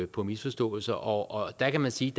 på misforståelser og der kan man sige